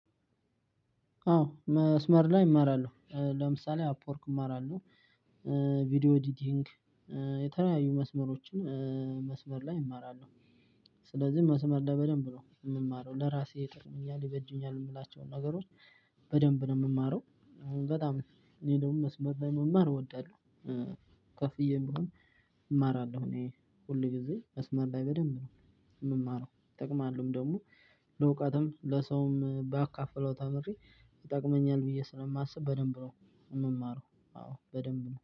አዎ መስመር ላይ እማራለሁ ለምሳሌ፦ አፕወርክ እማራለሁ ቪዲዮ ኤዲቲንግ የተለያዩ መስመሮችን መስመር ላይ እማራለሁ ስለዚህ መስመር ላይ በደንብ ነው የምማረው ለራሴ ይጠቅሙኛል ይበጁኛል የምላቸውን ነገሮች በደንብ ነው የምማረው አሁን በጣም እኔ ደግሞ መስመር ላይ መማር እወዳለሁ። ከፍዬም ቢሆን እማራለሁ እኔ ሁል ጊዜ መስመር ላይ በደንብ ነው የምማረው ይጠቅማሉም ደግሞ ለእውቀትም ለሰውም ባካፍለው ተምሬ ይጠቅመኛል ብዬ ስለማስብ በደንብ ነው የምማረው አዎ በደንብ ነው።